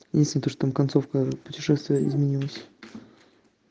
единственно что там концовка путешествия изменилась